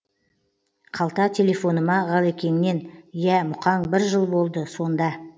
қалта телефоныма ғалекеңнен иә мұқаң бір жыл болды сонда